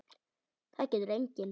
Það getur enginn.